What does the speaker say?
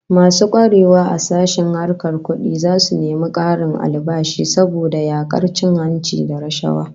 Masu kwarewa a sashen harkar kudi zasu nemi karin albashi saboda yakar cin hanci da rashawa